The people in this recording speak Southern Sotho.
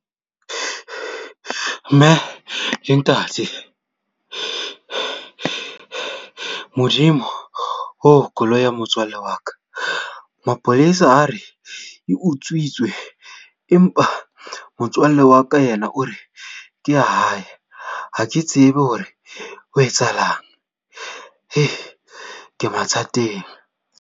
Mme le ntate! Modimo oh koloi ya motswalle wa ka. Mapolesa a re e utswitswe, empa motswalle wa ka ena o re ke ya hae ha ke tsebe hore ho etsahalang ke mathateng.